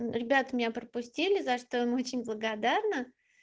ребята меня пропустили за что им очень благодарна